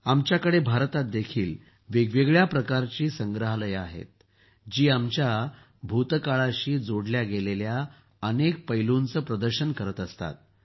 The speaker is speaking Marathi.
आमल्याकडे भारतात वेगवेगळ्या प्रकारचे संग्रहालये आहेत जे आमच्या भूतकाळाशी जोडल्या गेलेल्या अनेक पैलुंचं प्रदर्शन करत असतात